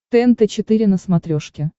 тнт четыре на смотрешке